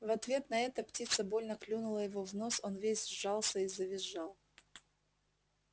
в ответ на это птица больно клюнула его в нос он весь сжался и завизжал